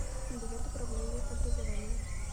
билет управление образования